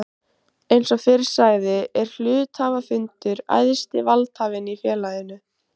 Eins og fyrr sagði er hluthafafundur æðsti valdhafinn í félaginu.